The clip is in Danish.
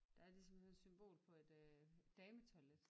Der er ligesom sådan et symbol på et øh dametoilet